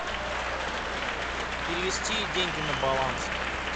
перевести деньги на баланс